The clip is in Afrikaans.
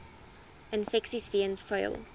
infeksies weens vuil